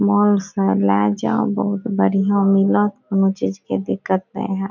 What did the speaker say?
मांस हेय ले जाय बहुत बढ़िया मिलत कुनू चीज के दिक्कत ने हेत।